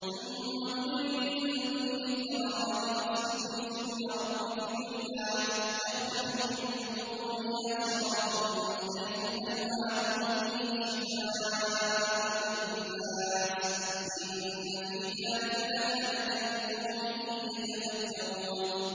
ثُمَّ كُلِي مِن كُلِّ الثَّمَرَاتِ فَاسْلُكِي سُبُلَ رَبِّكِ ذُلُلًا ۚ يَخْرُجُ مِن بُطُونِهَا شَرَابٌ مُّخْتَلِفٌ أَلْوَانُهُ فِيهِ شِفَاءٌ لِّلنَّاسِ ۗ إِنَّ فِي ذَٰلِكَ لَآيَةً لِّقَوْمٍ يَتَفَكَّرُونَ